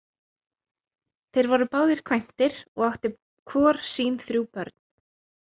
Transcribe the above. Þeir voru báðir kvæntir og áttu hvor sín þrjú börn.